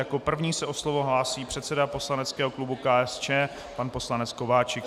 Jako první se o slovo hlásí předseda poslaneckého klubu KSČM pan poslanec Kováčik.